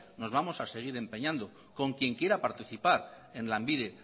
nos vamos a segur empeñando con quien quiera participar en lanbide